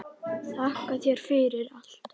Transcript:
Þakka þér fyrir allt.